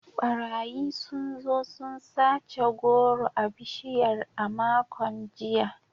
Barayi sun zo sun sace goro a bishiyar a makon jiya.